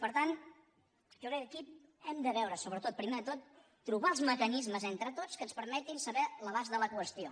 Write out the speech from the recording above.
per tant jo crec que aquí hem de veure sobretot primer de tot trobar els mecanismes entre tots que ens permetin saber l’abast de la qüestió